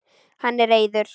Hann er reiður.